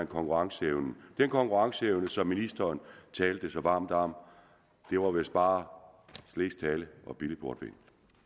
konkurrenceevnen den konkurrenceevne som ministeren talte så varmt om det var vist bare slesk tale og billig portvin